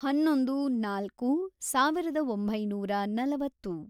ಹನ್ನೊಂದು, ನಾಲ್ಕು, ಸಾವಿರದ ಒಂಬೈನೂರ ನಲವತ್ತು